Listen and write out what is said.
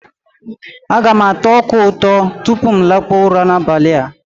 Aga m ata ọka ụtọ tupu m lakpụọ ụra n'abali a.